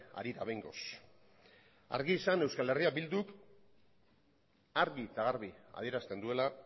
harira behingoz argi izan eh bilduk argi eta garbi adierazten duela